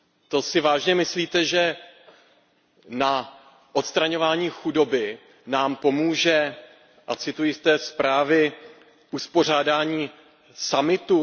To si vážně myslíte, že na odstraňování chudoby nám pomůže a cituji z té zprávy uspořádání summitu?